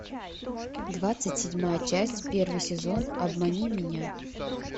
двадцать седьмая часть первый сезон обмани меня